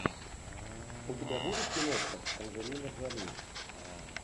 у тебя будет киношка анджелина джоли